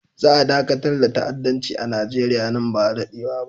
Za a dakatar da ta'addanci a Nigeriya nan ba da daɗewa ba.